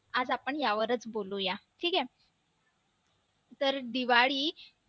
आज आपण यावरच बोलूया ठीक आहे तर दिवाळी